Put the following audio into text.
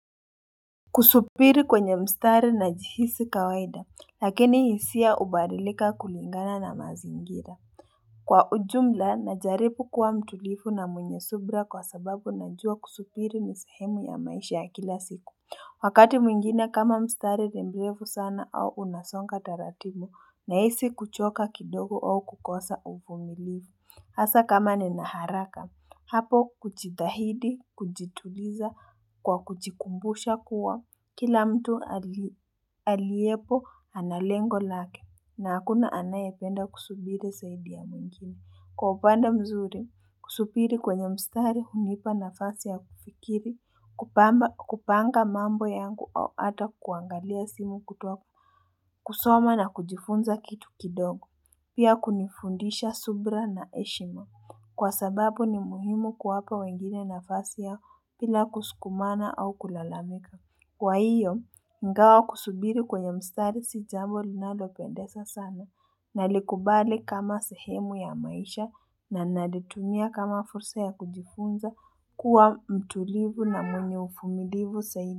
Kusubiri kwenye mstari na jihisi kawaida lakini hisia ubadilika kulingana na mazingira Kwa ujumla na jaribu kuwa mtulivu na mwenye subira kwa sababu najua kusubiri ni sehemu ya maisha ya kila siku Wakati mwingine kama mstari ni mrefu sana au unasonga taratimu na hisi kuchoka kidogo au kukosa uvumilivu hasa kama nina haraka, hapo kujidhahidi, kujituliza, kwa kujikumbusha kuwa, kila mtu aliyepo analengo lake, na hakuna anaye penda kusubiri zaidi ya mwingini. Kwa upande mzuri, kusubiri kwenye mstari, hunipa nafasi ya kufikiri, kupanga mambo yangu au ata kuangalia simu, kusoma na kujifunza kitu kidogo. Pia kunifundisha subira na heshima kwa sababu ni muhimu kuwapa wengine nafasi yao bila kusukumana au kulalamika Kwa hiyo ingawa kusubiri kweye mstari si jambo linalo pendeza sana na likubali kama sehemu ya maisha na nalitumia kama fursa ya kujifunza kuwa mtulivu na mwenye uvumilivu zaidi.